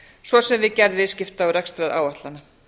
svo sem við gerð viðskipta og rekstraráætlana